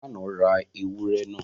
Falana ra ewúrẹ́ náà.